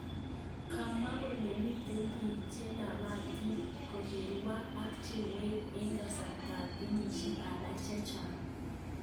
Kamwa kole miten pik chelapatit korigwak ak cha kowek eng kasartap ngeyishek ala checngaa